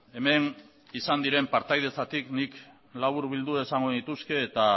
hemen izan diren partaidetzatik nik laburbilduz esango nituzke eta